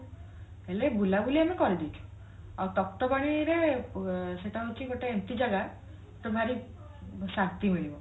ହେଲେ ବୁଲାବୁଲି ଆମେ କରି ଦେଇଛୁ ଆଉ ତପ୍ତପାଣିରେ ରେ ଉଁ ସେଟା ହଉଛି ଏଁ ଗୋଟେ ଏମତି ଜାଗା ତତେ ଭାରି ଶାନ୍ତି ମିଳିବ